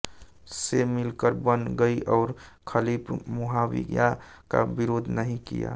से मिलकर बन गई और खलीफ मुआविया का विरोध नहीं किया